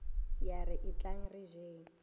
ya re etlang re jeng